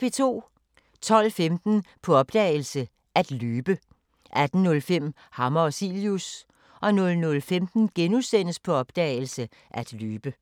12:15: På opdagelse – At løbe 18:05: Hammer og Cilius 00:15: På opdagelse – At løbe *